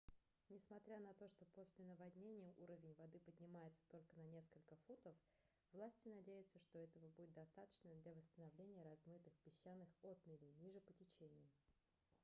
несмотря на то что после наводнения уровень воды поднимется только на несколько футов власти надеются что этого будет достаточно для восстановления размытых песчаных отмелей ниже по течению